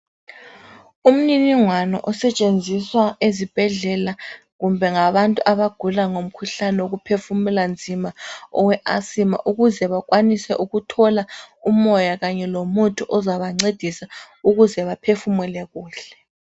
Umniningwano osetshenziswa ezibhedlela kumbe ngabantu abagula ngomkhuhlane woku phefumula nzima owe asima ukuze bakwanise ukuthola umoya kanye lomuthi ozabancedisa ukuze baphefumule kuhle.